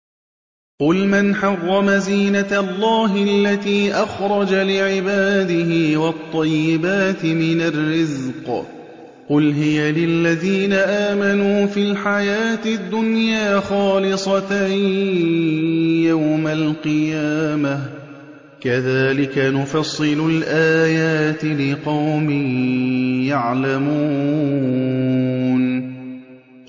قُلْ مَنْ حَرَّمَ زِينَةَ اللَّهِ الَّتِي أَخْرَجَ لِعِبَادِهِ وَالطَّيِّبَاتِ مِنَ الرِّزْقِ ۚ قُلْ هِيَ لِلَّذِينَ آمَنُوا فِي الْحَيَاةِ الدُّنْيَا خَالِصَةً يَوْمَ الْقِيَامَةِ ۗ كَذَٰلِكَ نُفَصِّلُ الْآيَاتِ لِقَوْمٍ يَعْلَمُونَ